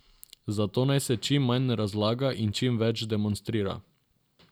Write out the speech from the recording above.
Zato naj se čim manj razlaga in čim več demonstrira.